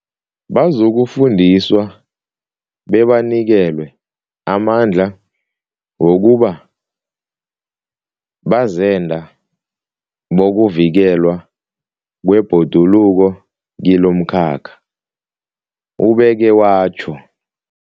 Bazokufundiswa bebanikelwe amandla wokuba bazenda bokuvikelwa kwebhoduluko kilomkhakha, ubeke watjho.